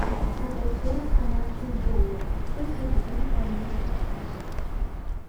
продать сорок канадских долларов сколько это будет в английских фунтах